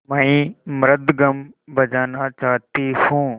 मैं मृदंगम बजाना चाहती हूँ